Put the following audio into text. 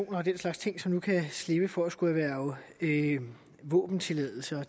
og den slags ting som nu kan slippe for at skulle erhverve våbentilladelse og at